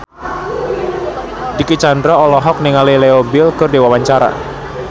Dicky Chandra olohok ningali Leo Bill keur diwawancara